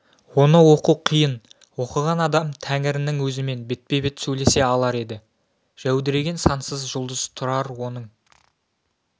оны оқу қиын оқыған адам тәңірінің өзімен бетпе-бет сөйлесе алар еді жәудіреген сансыз жұлдыз тұрар оның